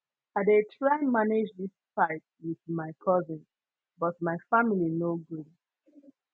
i dey try manage dis fight wit my cousin but my family no gree